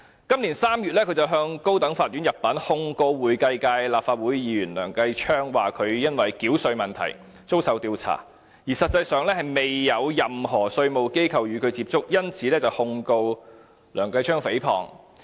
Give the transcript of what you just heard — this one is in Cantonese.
今年3月，他入稟高等法院，控告會計界立法會議員梁繼昌，指他因為繳稅問題而遭受調查，但實際上卻未有任何稅務機構與他接觸，因此，他控告梁繼昌議員誹謗。